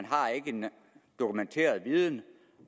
har en dokumenteret viden